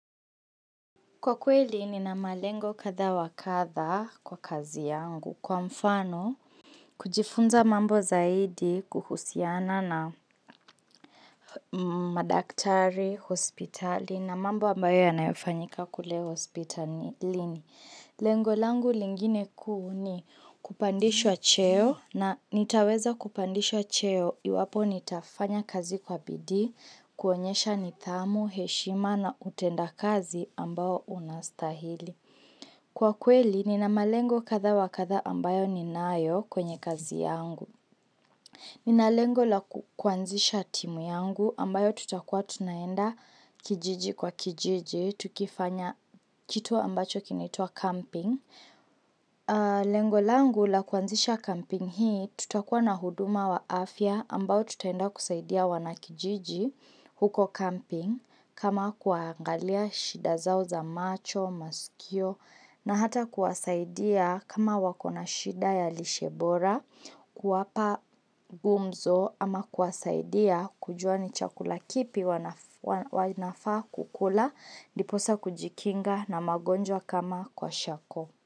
Kwa kweli nina malengo katha wa katha kwa kazi yangu. Kwa mfano, kujifunza mambo zaidi kuhusiana na madaktari, hospitali na mambo ambayo yanayofanyika kule hospitalini. Lengo langu lingine kuu ni kupandishwa cheo na nitaweza kupandishwa cheo iwapo nitafanya kazi kwa bidii, kuonyesha nithamu, heshima na utenda kazi ambao unastahili. Kwa kweli nina malengo katha wa katha ambayo ninayo kwenye kazi yangu. Nina lengo la kuanzisha timu yangu ambayo tutakua tunaenda kijiji kwa kijiji, tukifanya kitu ambacho kinitwa camping. Lengo langu la kuanzisha camping hii tutakuwa na huduma wa afya ambao tutaenda kusaidia wanakijiji huko camping kama kuangalia shida zao za macho, masikio na hata kuasaidia kama wako na shida ya lishebora kuwapa gumzo Ama kuwasaidia kujua ni chakula kipi wanafaa kukula diposa kujikinga na magonjwa kama kwa shako.